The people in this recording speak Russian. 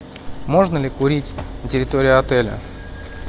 можно ли курить на территории отеля